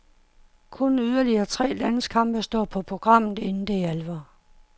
Kun yderligere tre landskampe står på programmet, inden det er alvor.